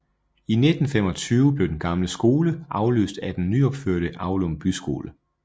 I 1925 blev den gamle skole afløst af den nyopførte Aulum Byskole